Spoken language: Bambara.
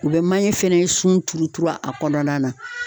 U bɛ manje fɛnɛ sunturuturu a kɔnɔna na.